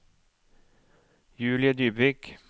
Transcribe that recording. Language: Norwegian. Julie Dybvik